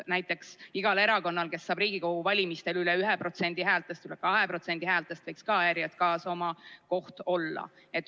Näiteks igal erakonnal, kes saab Riigikogu valimistel üle 1% häältest, üle 2% häältest, võiks ka ERJK-s oma koht olla.